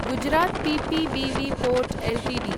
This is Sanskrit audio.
Gujarat Pipavav port Ltd